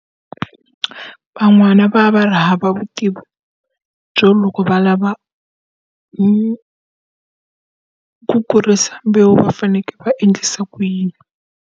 Van'wana va va va ri hava vutivi byo loko va lava ku ku kurisa mbewu va fanekele va endlisa ku yini.